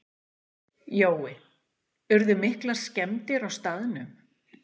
Jói, urðu miklar skemmdir á staðnum?